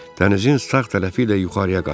Dənizin sağ tərəfi ilə yuxarıya qaçırdı.